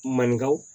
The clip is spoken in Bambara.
Maninkaw